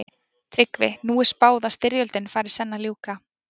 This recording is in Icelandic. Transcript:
TRYGGVI: Nú er því spáð að styrjöldinni fari senn að ljúka.